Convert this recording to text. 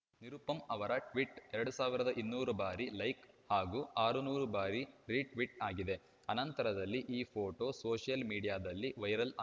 ನಿರುಪಮ್‌ ಅವರ ಟ್ವೀಟ್‌ ಎರಡು ಸಾವಿರದ ಇನ್ನೂರು ಬಾರಿ ಲೈಕ್‌ ಹಾಗೂ ಆರುನೂರು ಬಾರಿ ರೀಟ್ವೀಟ್‌ ಆಗಿದೆ ಅನಂತರದಲ್ಲಿ ಈ ಫೋಟೋ ಸೋಷಿಯಲ್‌ ಮೀಡಿಯಾದಲ್ಲಿ ವೈರಲ್‌ ಆ